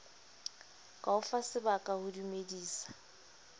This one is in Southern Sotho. ka o fasebaka ho dumedisa